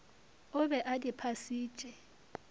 o be a di phasitše